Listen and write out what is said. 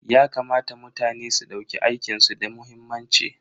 Yakamata mutane su dauki aikin su da muhimmanci.